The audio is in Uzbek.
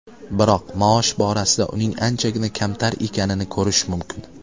Biroq maosh borasida uning anchagina kamtar ekanini ko‘rish mumkin.